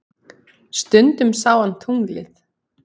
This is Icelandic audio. Stundum sá hann tunglið.